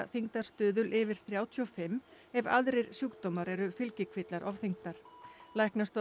þyngdarstuðul yfir þrjátíu og fimm ef aðrir sjúkdómar eru fylgikvillar ofþyngdar